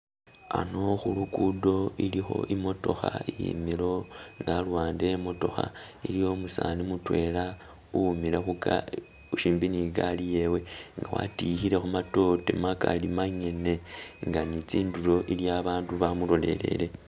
Ano khulukudo ilikho imokokha iyimile awo ne aluwande e'motokha iliwo umusani mutwela uwimile khuga khusimbi ne gaali yewe nga watikhilekho kamatoore magaali mangene nga ne tsindulo aliyo abandu bamulolele